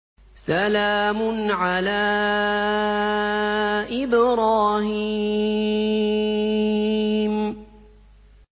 سَلَامٌ عَلَىٰ إِبْرَاهِيمَ